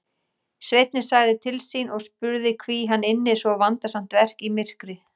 Sveinninn sagði til sín og spurði hví hann ynni svo vandasamt verk í myrkri.